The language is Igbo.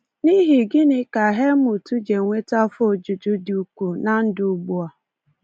N’ihi gịnị ka Helmut ji enweta afọ ojuju dị ukwuu na ndụ ugbu a?